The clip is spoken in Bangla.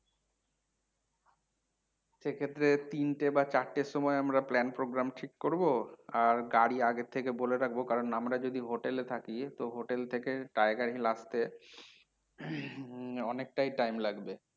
সেক্ষেত্রে তিনটে বা চারটের সময় আমরা plan, program ঠিক করবো আর গাড়ি আগের থেকে বলে রাখবো কারণ আমরা যদি হোটেলে থাকি তো হোটেল থেকে tiger hill নামবো অনেকটাই time লাগবে।